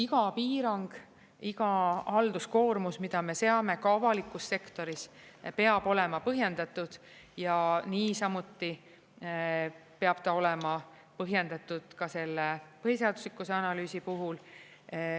Iga piirang, iga halduskoormus, mida me seame ka avalikus sektoris, peab olema põhjendatud ja niisamuti peab ta olema põhjendatud ka selle põhiseaduslikkuse analüüsi puhul.